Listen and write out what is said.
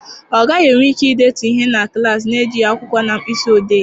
Ọ gaghị enwe ike idetu ihe na klaasị na-ejighị akwụkwọ na mkpịsị odee.